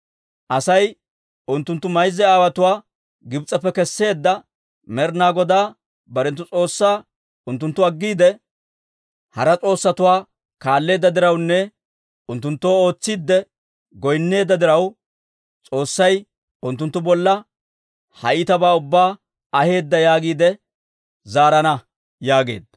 Asay, Unttuntta mayza aawotuwaa Gibs'eppe kesseedda Med'inaa Godaa barenttu S'oossaa unttunttu aggiide, hara s'oossatuwaa kaalleedda dirawunne unttunttoo ootsiidde goynneedda diraw, S'oossay unttunttu bolla ha iitabaa ubbaa aheedda yaagiide zaarana» yaageedda.